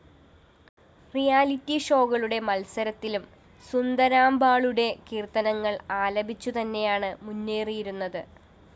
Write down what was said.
reality ഷോകളുടെ മത്സരത്തിലും സുന്ദരാംബാളുടെ കീര്‍ത്തനങ്ങള്‍ ആലപിച്ചു തന്നെയാണ്‌ മുന്നേറിയിരുന്നത്‌